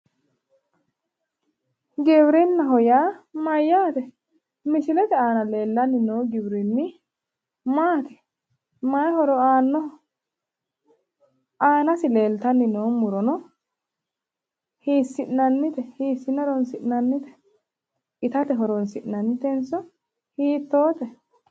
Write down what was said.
Giwirinnaho yaa mayyaate? Misilete aana leellanni noo giwirinni maati? Mayi horo aannoho? Aanasi leeltanni noo murono hiissi'nannite? Hiissine horoonsi'nannite? Itate horoonsi'nannitenso hiittoote?